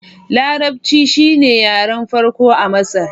Larabci shine yaren farko a Masar.